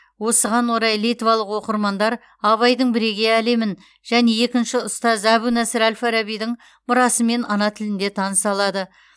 осыған орай литвалық оқырмандар абайдың бірегей әлемін және екінші ұстаз әбу насыр әл фарабидің мұрасымен ана тілінде таныса алады